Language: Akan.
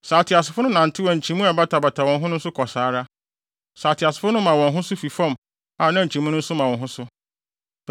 Sɛ ateasefo no nantew a nkyimii a ɛbatabata wɔn ho no nso kɔ saa ara; sɛ ateasefo no ma wɔn ho so fi fam a nkyimii no nso ma wɔn ho so.